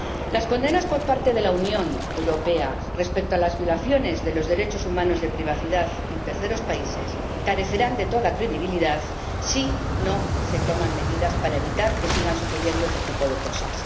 Las condenas por parte de la Unión Europea respecto a las violaciones de los derechos humanos de privacidad en terceros países carecerán de toda credibilidad si no se toman medidas para evitar que sigan sucediendo ese tipo de cosas.